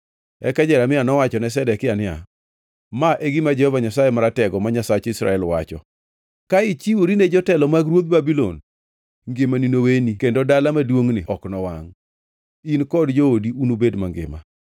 Eka Jeremia nowachone Zedekia niya, “Ma e gima Jehova Nyasaye Maratego, ma Nyasach Israel, wacho: ‘Ka ichiwori ne jotelo mag ruodh Babulon, ngimani noweni kendo dala maduongʼni ok nowangʼ, in kod joodi unubed mangima.